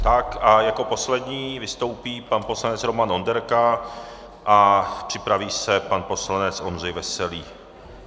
Tak a jako poslední vystoupí pan poslanec Roman Onderka a připraví se pan poslanec Ondřej Veselý.